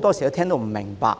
多時也聽不明白。